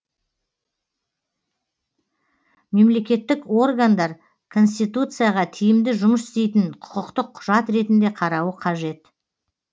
мемлекеттік органдар конституцияға тиімді жұмыс істейтін құқықтық құжат ретінде қарауы қажет